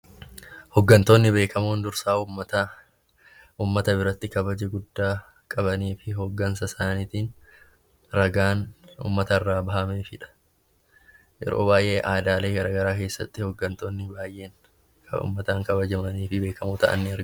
Hooggantoonni beekamoon dursaa uummataa, uummata biratti kabaja guddaa kan qabanii fi hooggansa isaaniitiif ragaan uummatarraa bahamefidha. Yeroo baay'ee aanaalee garaagaraa keessatti kan uummataan kabajamoo ta'an ni jiru.